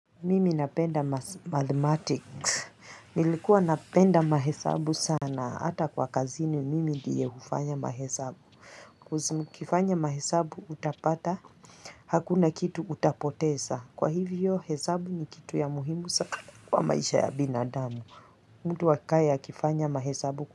Mimi napenda mathematics nilikuwa napenda mahesabu sana hata kwa kazini mimi ndiye hufanya mahesabu Ukfanya mahesabu utapata hakuna kitu utapoteza kwa hivyo hesabu ni kitu ya muhimu kwa maisha ya binadamu mtu akae akifanya mahesabu.